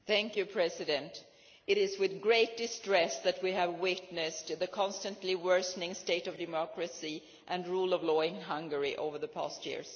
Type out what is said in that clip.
Mr President, it is with great distress that we have witnessed the constantly worsening state of democracy and rule of law in Hungary over the past years.